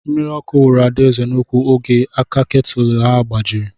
Mmiri ọkụ wuru Adaeze n'úkwu oge aka ketụl ya gbajiri.